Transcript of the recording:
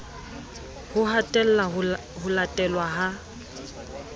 ho hatella ho latelwa ha